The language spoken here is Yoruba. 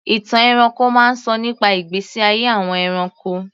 Ìtàn ẹranko máa ń sọ nípa ìgbésí ayé àwọn ẹranko.